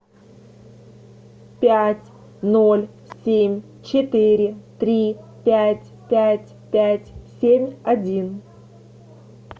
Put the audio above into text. пять ноль семь четыре три пять пять пять семь один